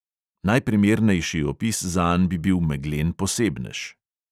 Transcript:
Najprimernejši opis zanj bi bil meglen posebnež.